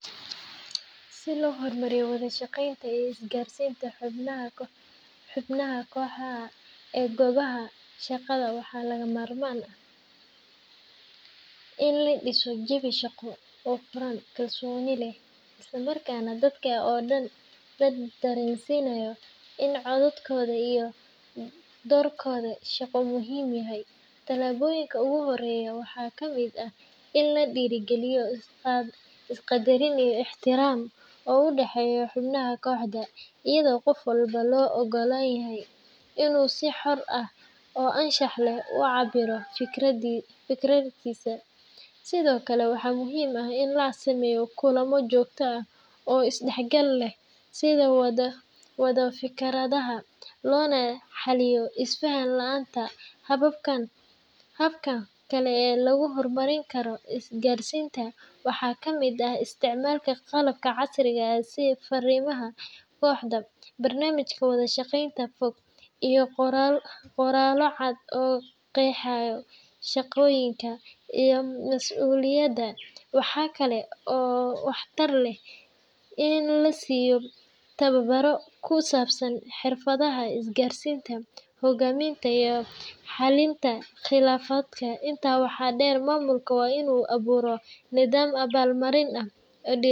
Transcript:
Si loo horumariyo wada-shaqeynta iyo isgaarsiinta xubnaha kooxaha ee goobaha shaqada, waxaa lagama maarmaan ah in la dhiso jawi shaqo oo furan, kalsooni leh, isla markaana dadka oo dhan la dareensiinayo in codkooda iyo doorkooda shaqo muhiim yahay. Tallaabooyinka ugu horreeya waxaa ka mid ah in la dhiirrigeliyo is-qaddarin iyo ixtiraam u dhexeeya xubnaha kooxda, iyadoo qof walba loo oggol yahay inuu si xor ah oo anshax leh u cabbiro fikirkiisa. Sidoo kale, waxaa muhiim ah in la sameeyo kulamo joogto ah oo is-dhexgal leh si loo wadaago fikradaha, loona xalliyo is-faham la’aanta. Hababka kale ee lagu horumarin karo isgaarsiinta waxaa ka mid ah isticmaalka qalab casri ah sida fariimaha kooxeed, barnaamijyada wada-shaqeynta fog, iyo qoraallo cad oo qeexaya shaqooyinka iyo mas’uuliyadaha. Waxaa kale oo waxtar leh in la siiyo tababbarro ku saabsan xirfadaha isgaarsiinta, hoggaaminta, iyo xalinta khilaafaadka. Intaa waxaa dheer, maamulka waa inuu abuuraa nidaam abaal-marin ah.